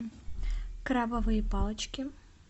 крабовые палочки